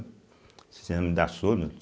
Cinema me dá sono.